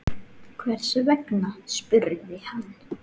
Hvers vegna? spurði hann.